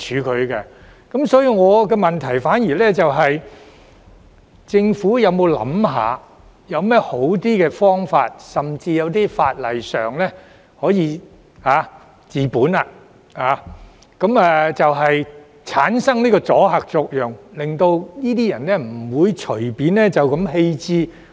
我的補充質詢是，政府有甚麼較好的方法，例如引用法例，可以治本，產生阻嚇作用，令這些人不會隨便棄置廢棄車輛？